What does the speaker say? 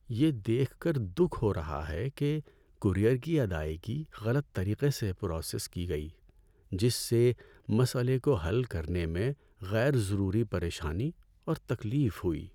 یہ دیکھ کر دکھ ہو رہا ہے کہ کورئیر کی ادائیگی غلط طریقے سے پراسیس کی گئی، جس سے مسئلے کو حل کرنے میں غیر ضروری پریشانی اور تکلیف ہوئی۔